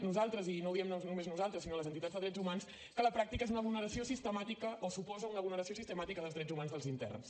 nosaltres i no ho diem només nosaltres sinó les entitats de drets humans que a la pràctica és una vulneració sistemàtica o suposa una vulneració sistemàtica dels drets humans dels interns